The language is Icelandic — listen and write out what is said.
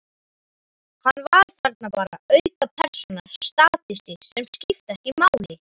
Hann var þarna bara, aukapersóna, statisti sem skipti ekki máli.